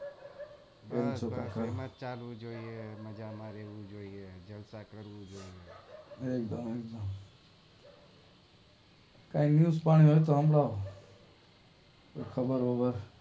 એમ જ ચાલવું જોઈ એ મજા માં રેવું જોઈએ